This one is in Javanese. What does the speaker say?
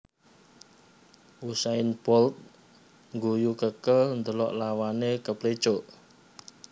Usain Bolt ngguyu kekel ndelok lawane keplicuk